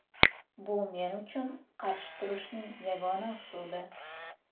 Bu men uchun qarshi turishning yagona usuli.